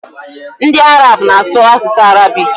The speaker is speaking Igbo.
Ndi Arab na asu asusu Arabic